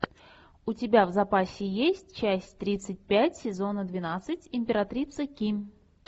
у тебя в запасе есть часть тридцать пять сезона двенадцать императрица ки